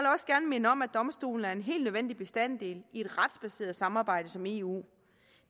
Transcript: minde om at domstolen er en helt nødvendig bestanddel i et retsbaseret samarbejde som eu